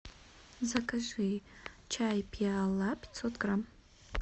закажи чай пиала пятьсот грамм